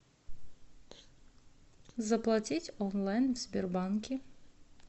заплатить онлайн в сбербанке